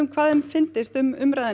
hvað þeim fyndist um umræðuna